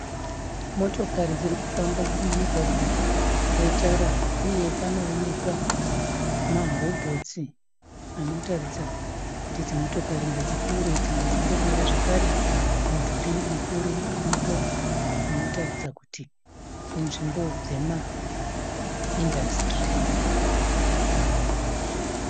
Motokari dziri kufamba mumugwagwa wetara. Uye panoonekwa marobhotsi anotaridza kuti idzi motokari ngadzipfuure idzi ngadzimbomira . Zvekare mudhuri mukuru uripo zvinoratidza kuti inzvimbo yemaindasitiri.